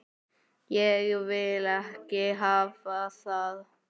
Ég vil ekki hafa það.